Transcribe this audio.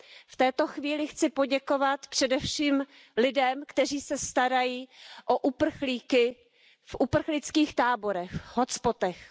V této chvíli chci poděkovat především lidem, kteří se starají o uprchlíky v uprchlických táborech, v hotspotech.